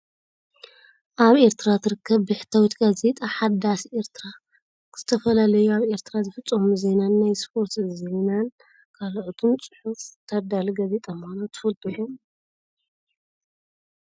ኣብ ኤርትራ ትርከብ ብሕታዊት ጋዜጣ ሓዳስ ኤርትራ ዝተፈላለዩ ኣብ ኤርትራ ዝፍፀሙ ዜናን ናይ ስፖርት ዜናን ካልኦትን ፅሑፍ ተዳሉ ጋዜጣ ምኳና ትፈልጡ ዶ?